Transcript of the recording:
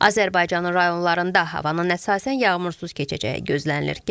Azərbaycanın rayonlarında havanın əsasən yağmursuz keçəcəyi gözlənilir.